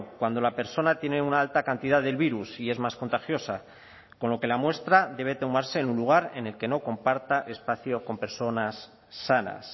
cuando la persona tiene una alta cantidad del virus y es más contagiosa con lo que la muestra debe tomarse en un lugar en el que no comparta espacio con personas sanas